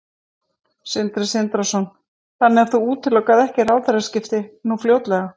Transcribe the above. Sindri Sindrason: Þannig að þú útilokar ekki ráðherraskipti nú fljótlega?